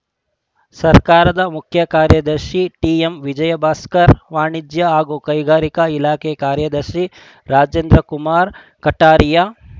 ಸರ್ಕಾರದ ಮುಖ್ಯ ಕಾರ್ಯದರ್ಶಿ ಟಿಎಂವಿಜಯ ಭಾಸ್ಕರ್‌ ವಾಣಿಜ್ಯ ಹಾಗೂ ಕೈಗಾರಿಕೆ ಇಲಾಖೆ ಕಾರ್ಯದರ್ಶಿ ರಾಜೇಂದ್ರ ಕುಮಾರ್‌ ಖಟಾರಿಯಾ